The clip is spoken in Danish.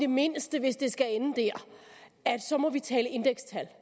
mindste hvis det skal ende der at så må vi tale indekstal